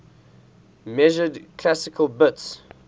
measured classical bits